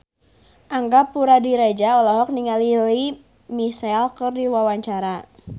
Angga Puradiredja olohok ningali Lea Michele keur diwawancara